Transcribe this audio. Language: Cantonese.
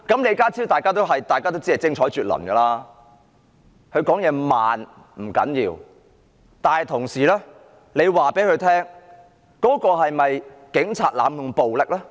李家超，大家也知道他精彩絕倫，他說話慢不要緊，但問他警察是否濫用暴力呢？